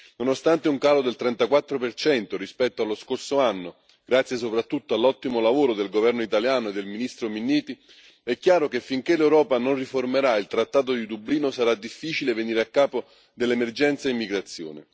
Nonostante un calo del 34 rispetto allo scorso anno, grazie soprattutto all'ottimo lavoro del governo italiano e del ministro Minniti, è chiaro che finché l'Europa non riformerà il trattato di Dublino sarà difficile venire a capo dell'emergenza immigrazione.